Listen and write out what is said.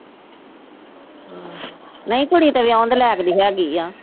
ਨੀ ਕੁੜੀ ਤਾਂ ਵਿਆਹੁਣ ਦੇ ਲਾਇਕ ਦੇ ਹੈਗੀ ਆ।